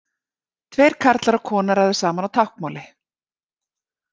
Tveir karlar og kona ræða saman á táknmáli.